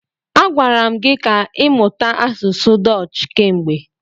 A gwara m gi ka ịmụta asụsụ Dọch kemgbe.